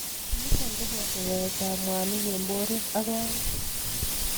Nitok koboto yaet ab mwanik eng borwek ak kawek.